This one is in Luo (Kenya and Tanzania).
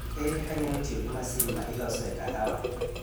Ere kaka anyalo tiyo gi masin ma ilosoe kahawa?